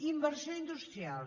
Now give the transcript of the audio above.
inversió industrial